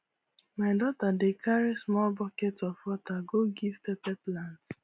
my daughter dey carry small bucket of water go give pepper plant